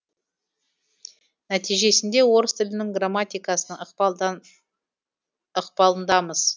нәтижесінде орыс тілінің грамматикасының ықпалындамыз